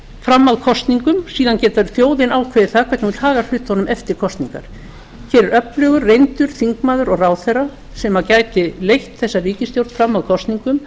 fram að kosningum síðan getur þjóðin ákveður það hvernig hún vill haga hlutunum eftir kosningar hér er öflugur reyndur þingmaður og ráðherra sem gæti leitt þessa ríkisstjórn fram að kosningum